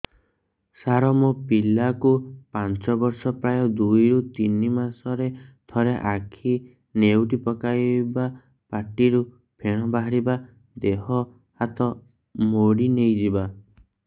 ସାର ମୋ ପିଲା କୁ ପାଞ୍ଚ ବର୍ଷ ପ୍ରାୟ ଦୁଇରୁ ତିନି ମାସ ରେ ଥରେ ଆଖି ନେଉଟି ପକାଇବ ପାଟିରୁ ଫେଣ ବାହାରିବ ଦେହ ହାତ ମୋଡି ନେଇଯିବ